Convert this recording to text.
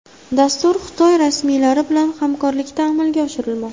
Dastur Xitoy rasmiylari bilan hamkorlikda amalga oshirilmoqda.